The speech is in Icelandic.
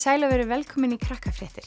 sæl og verið velkomin í